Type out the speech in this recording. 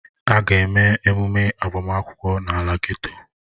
A ga-eme emume agbamakwụkwọ n'ala geto